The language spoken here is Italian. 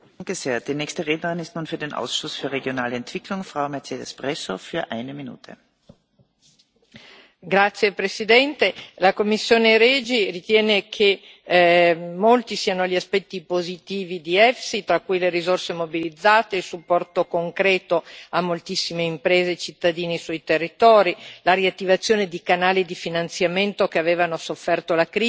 Signora Presidente, onorevoli colleghi, la commissione REGI ritiene che molti siano gli aspetti positivi di EFSI, tra cui le risorse immobilizzate, il supporto concreto a moltissime imprese e cittadini sui territori, la riattivazione di canali di finanziamento che avevano sofferto la crisi facendo crollare gli investimenti in molte parti d'Europa.